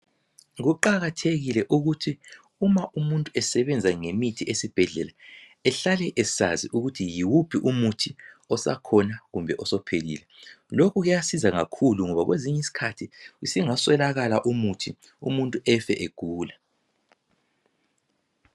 Kuqakathekile ukuthi umuntu nxa esebenza ngemithi esibhedlela ehlale esazi ukuthi yiwuphi umuthi osakhona kumbe osuphelile. Lokhu kuyasiza kakhulu ngoba kwezinye izikhathi usungaswelakala umuthi, umuntu efe egula.